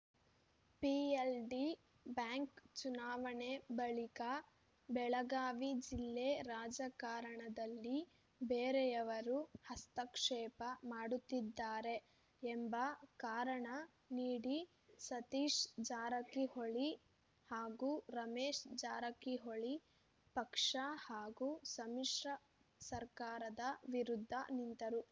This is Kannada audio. ಪಿಎಲ್‌ಡಿ ಬ್ಯಾಂಕ್‌ ಚುನಾವಣೆ ಬಳಿಕ ಬೆಳಗಾವಿ ಜಿಲ್ಲೆ ರಾಜಕಾರಣದಲ್ಲಿ ಬೇರೆಯವರು ಹಸ್ತಕ್ಷೇಪ ಮಾಡುತ್ತಿದ್ದಾರೆ ಎಂಬ ಕಾರಣ ನೀಡಿ ಸತೀಶ್‌ ಜಾರಕಿಹೊಳಿ ಹಾಗೂ ರಮೇಶ್‌ ಜಾರಕಿಹೊಳಿ ಪಕ್ಷ ಹಾಗೂ ಸಮ್ಮಿಶ್ರ ಸರ್ಕಾರದ ವಿರುದ್ಧ ನಿಂತರು